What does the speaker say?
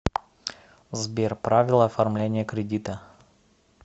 сбер правила оформления кредита